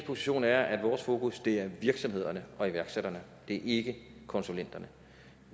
position er at vores fokus er virksomhederne og iværksætterne det er ikke konsulenterne